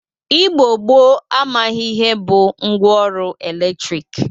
Igbo gboo amaghị ihe bụ ngwa ọrụ eletrik.